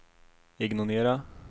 ignorera